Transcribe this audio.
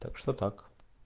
так что так